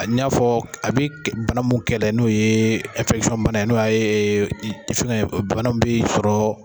A bi n'a fɔ a bi bana mun kɛlɛ la n'o ye ye n'o ya ye banamun b'i sɔrɔ.